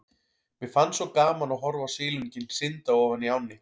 Mér fannst svo gaman að horfa á silunginn synda ofan í ánni.